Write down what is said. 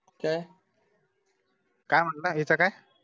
काय, काय म्हंटला याच काय